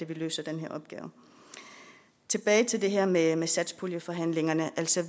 vil løse den opgave tilbage til det her med med satspuljeforhandlingerne